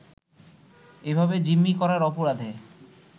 এভাবে জিম্মি করার অপরাধে